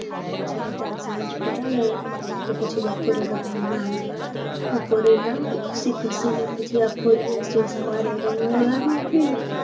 પછી બધા સાંજ પડા ને પછી બપોરે બતા ના બપોરે ના ઘસી ઘસી ને પછી આખો દિવસ એ સવારે રેલગાડીઓ. રંગને નીકાળ્યો.